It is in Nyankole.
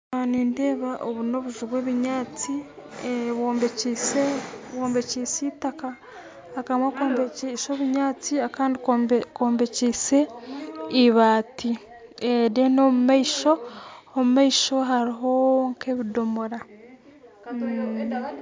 Aha nindeeba obu n'obuju bwebinyantsi bwombekyise bwombekyise itaka akamwe kombekyise obunyantsi akandi kombekyise ibaati then omumaisho omumaisho haruho nkebidomoora.